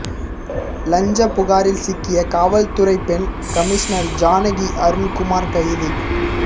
லஞ்சப் புகாரில் சிக்கிய கலால்துறை பெண் கமிஷ்னர் ஜானகி அருண்குமார் கைது